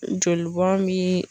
Jolibɔn bi.